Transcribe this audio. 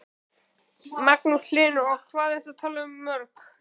Magnús Hlynur: Og hvað ert þú að tala um mörg?